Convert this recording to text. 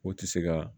O tɛ se ka